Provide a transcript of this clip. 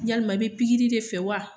Yalima i bɛ pikiri de fɛ wa ?